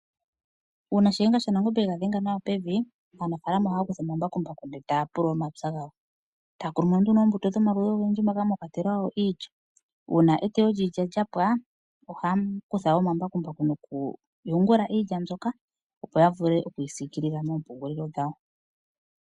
Uuna shiyenga shaNangombe ega dhenga nawa pevi, aanafaalama ohaya kutha omambakumbaku ndele ta ya pulula omapya gawo. Ta ya kunumo nduno oombuto dhomaludhi ogendji moka mwa kwatelwa wo iilya. Uuna eteyo liilya lyapwa, ohaya kutha omambakumbaku nokuyungula iilya mbyoka opo ya vule okuyisikilila moompungulilo dhawo.